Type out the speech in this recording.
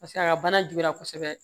Paseke a ka bana juguya kosɛbɛ